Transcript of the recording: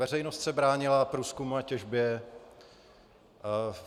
Veřejnost se bránila průzkumu a těžbě.